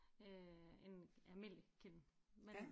Øh en almindelig kiln men ja